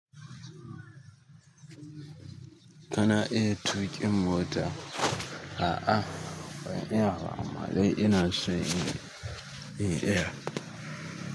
Kana iya tuƙin mota? A'a ban iya ba amma dai ina son in iya.